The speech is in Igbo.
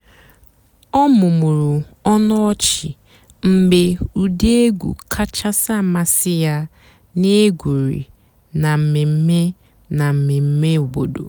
ọ́ mụ́mụ́rụ́ ónú ọ̀chị́ mg̀bé ụ́dị́ ègwú kàchàsị́ àmásị́ yá nà-ègwùrí nà m̀mèmè nà m̀mèmè òbòdo.